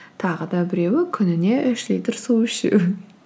тағы да біреуі күніне үш литр су ішу